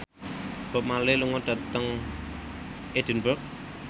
Bob Marley lunga dhateng Edinburgh